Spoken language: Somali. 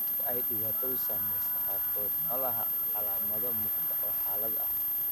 Dadka ay dhibaatadu saameysey qaarkood ma laha calaamado muuqda oo xaaladda ah.